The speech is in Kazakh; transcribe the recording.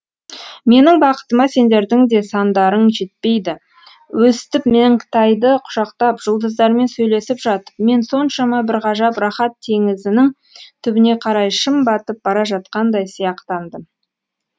менің бақытыма сендердің де сандарың жетпейді өстіп меңтайды құшақтап жұлдыздармен сөйлесіп жатып мен соншама бір ғажап рақат теңізінің түбіне қарай шым батып бара жатқандай сияқтандым